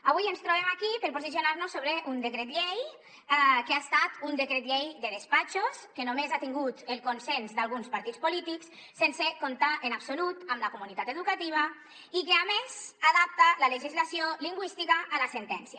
avui ens trobem aquí per posicionar nos sobre un decret llei que ha estat un decret llei de despatxos que només ha tingut el consens d’alguns partits polítics sense comptar en absolut amb la comunitat educativa i que a més adapta la legislació lingüística a la sentència